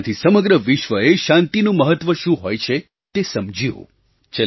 તેનાથી સમગ્ર વિશ્વએ શાંતિનું મહત્ત્વ શું હોય છે તે સમજ્યું